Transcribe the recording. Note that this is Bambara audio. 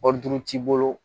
Wari duuru t'i bolo